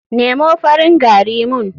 Nemo farin gari mun.